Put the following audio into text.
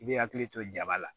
I bɛ hakili to jaba la